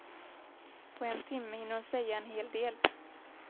På en timme hinner hon säga en hel del.